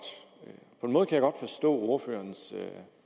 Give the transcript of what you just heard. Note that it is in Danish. forstå ordførerens